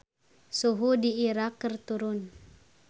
Suhu di Irak keur turun